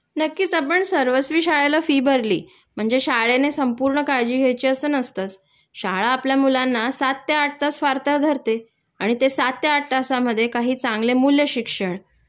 नक्कीच आपण सर्वस्वी शाळेला फी भरली म्हणजे शाळेने संपूर्ण काळजी घ्यायची असं नसतंच.शाळा आपल्या मुलांना सात ते आठ तास फार तर धरते आणि ते सात ते आठ तासमध्ये काही चांगले मूल्यशिक्षण